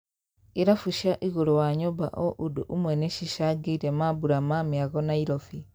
Irabu cia igũru wa nyũmba o ũndũ ũmwe nicicangĩire mambũra ma mĩago Nairobi.